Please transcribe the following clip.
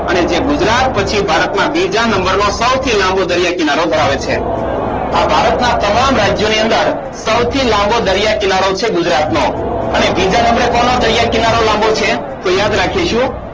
અને જે ગુજરાત પછી ભારતના બીજા નંબરે સૌથી લાંબો દરિયા કિનારો ધરાવે છે આ ભારતના તમામ રાજ્યની અંદર સૌથી લાંબો દરિયો છે ગુજરાતનો અને બીજા નંબરે કોનો દરિયા કિનારો લાંબો છે